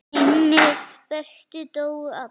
Hinir bestu dóu allir.